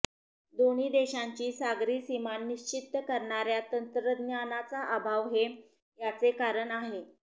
दोन्ही देशांची सागरी सीमा निश्चित करणाऱया तंत्रज्ञानाचा अभाव हे याचे कारण आहे